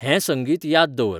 हें संंगीत याद दवर